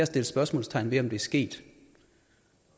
sætte spørgsmålstegn ved om det er sket